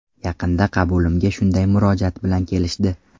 Yaqinda qabulimga shunday murojaat bilan kelishdi.